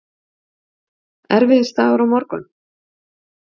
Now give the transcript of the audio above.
Erfiðisdagur á morgun.